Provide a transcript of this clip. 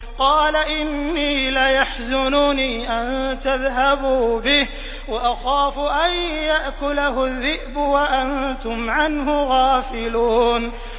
قَالَ إِنِّي لَيَحْزُنُنِي أَن تَذْهَبُوا بِهِ وَأَخَافُ أَن يَأْكُلَهُ الذِّئْبُ وَأَنتُمْ عَنْهُ غَافِلُونَ